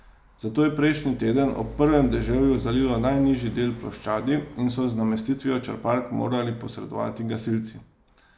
Zato je prejšnji teden ob prvem deževju zalilo najnižji del ploščadi in so z namestitvijo črpalk morali posredovati gasilci.